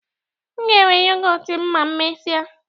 Nga ewe yọgọt m ma emesia